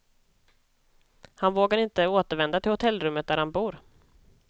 Han vågar inte återvända till hotellrummet där han bor.